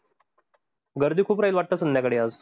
गर्दी खूप राहील वाटतं संध्याकाळी आज?